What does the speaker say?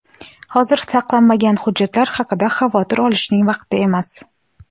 Hozir saqlanmagan hujjatlar haqida xavotir olishning vaqti emas.